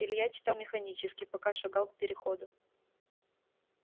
илья читал механически пока шагал к переходу